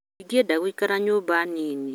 Ndingĩenda gũikara nyũmba nini